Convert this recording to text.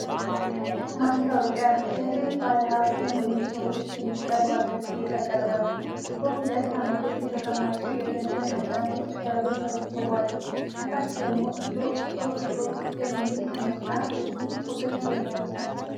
ማስታወቂያ "የግል ባለሀብት ለሚሆኑ ሰዎች የሚቀርብ" አገልግሎት ያቀርባል:: በሁለት ዓምዶች የተቀመጡ የገንዘብ መጠኖች በብር ተጽፈዋል:: ከታች ደግሞ "Ethio Stock Broker" የሚል ስምና የስልክ ቁጥሮች ይገኛሉ::